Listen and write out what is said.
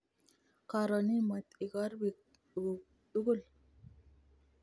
Koron imwet ikorpik nguk tugul